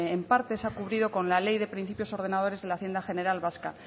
en parte se ha cubierto con la ley de principios ordenadores de la hacienda general vasca